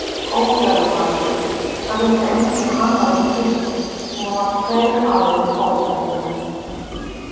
Ógæfumaðurinn Það vissi enginn að hann væri til nema tveir aðrir ógæfumenn.